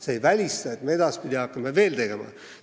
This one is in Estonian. See ei välista, et edaspidi hakatakse seda veel tegema.